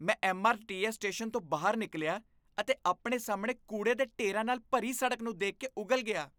ਮੈਂ MRTS station ਤੋਂ ਬਾਹਰ ਨਿਕਲਿਆ ਅਤੇ ਆਪਣੇ ਸਾਹਮਣੇ ਕੂੜੇ ਦੇ ਢੇਰਾਂ ਨਾਲ ਭਰੀ ਸੜਕ ਨੂੰ ਦੇਖ ਕੇ ਉਗਲ ਗਿਆ।